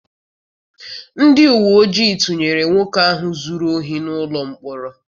Ndị uwe ojii tụnyere nwoke ahụ zụrụ ohi n'ụlọ mkpọrọ.